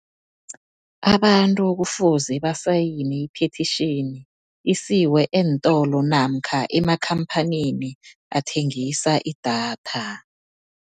Abantu kufuze basayine i-petition, isiwe eentolo namkha emakhamphanini athengisa idatha.